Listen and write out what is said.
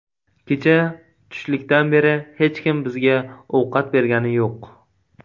Kecha tushlikdan beri hech kim bizga ovqat bergani yo‘q.